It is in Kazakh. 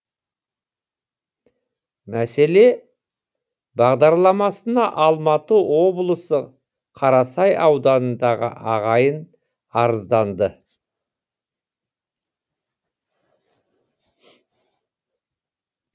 мәселе бағдарламасына алматы облысы қарасай ауданындағы ағайын арызданды